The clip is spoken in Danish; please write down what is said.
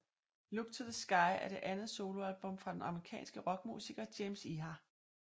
Look to the Sky er det andet soloalbum fra den amerikanske rockmusiker James Iha